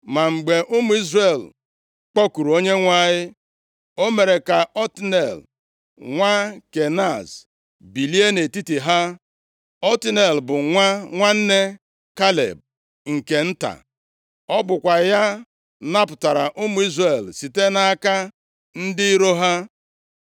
Ma mgbe ụmụ Izrel kpọkuru Onyenwe anyị, o mere ka Otniel, nwa Kenaz, bilie nʼetiti ha. Otniel bụ nwa nwanne Kaleb nke nta. Ọ bụkwa ya napụtara ụmụ Izrel site nʼaka ndị iro ha.